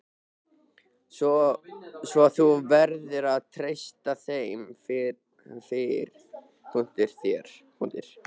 Svo þú verður að treysta þeim fyrir. þér.